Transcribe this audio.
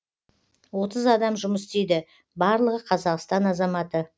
отыз адам жұмыс істейді барлығы қазақстан азаматы